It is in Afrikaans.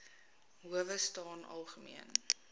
howe staan algemeen